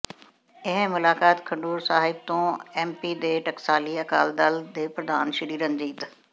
ਇਹ ਮੁਲਾਕਾਤ ਖਡੂਰ ਸਾਹਿਬ ਤੋਂ ਐੱਮਪੀ ਦੇ ਟਕਸਾਲੀ ਅਕਾਲੀ ਦਲ ਦੇ ਪ੍ਰਧਾਨ ਸ੍ਰੀ ਰਣਜੀਤ